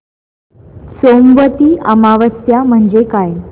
सोमवती अमावस्या म्हणजे काय